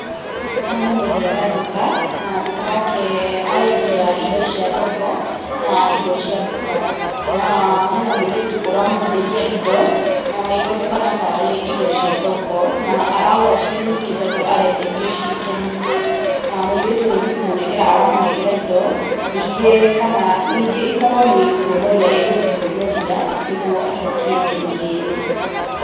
Haha nĩ mwendia wa nduka, na nduka yake arendia indo cia thoko na indo cia nduka. Na hena mũirĩtu ũramwenderia indo na ironekana tarĩ indo cia thoko na aragũra cirĩ nyingĩ tondũ arenderio ciĩ keni-inĩ. Na mũirĩtu ũyũ nĩ kũmũnengera aramũnengera indo, ningĩ ĩkorwo níĩ kuonoria egũthiĩ kuonoria nĩ guo acokie keni yene.